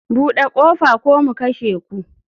Bude kofa ko mu kashe ku.